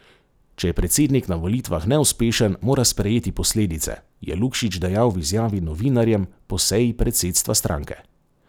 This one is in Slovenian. Če je predsednik na volitvah neuspešen, mora sprejeti posledice, je Lukšič dejal v izjavi novinarjem po seji predsedstva stranke.